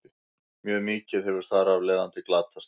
Mjög mikið hefur þar af leiðandi glatast.